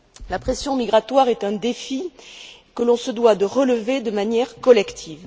La pression migratoire est un défi que l'on se doit de relever de manière collective.